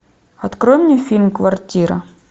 открой мне фильм квартира